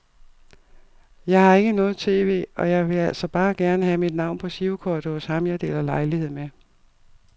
Jeg har ikke noget tv, og jeg ville altså bare gerne have mit navn på girokortet hos ham jeg deler lejlighed med.